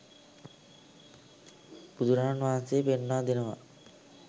බුදුරජාණන් වහන්සේ පෙන්වා දෙනවා